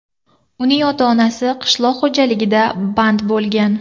Uning ota-onasi qishloq xo‘jaligida band bo‘lgan.